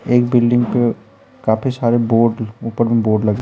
एक बिल्डिंग पे काफी सारे बोर्ड ऊपर बोर्ड लगे--